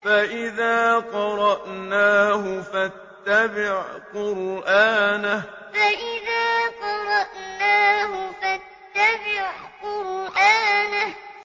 فَإِذَا قَرَأْنَاهُ فَاتَّبِعْ قُرْآنَهُ فَإِذَا قَرَأْنَاهُ فَاتَّبِعْ قُرْآنَهُ